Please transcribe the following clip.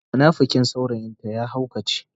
munafikin saurayin ta ya haukace.